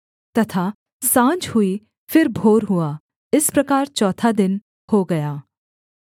तथा साँझ हुई फिर भोर हुआ इस प्रकार चौथा दिन हो गया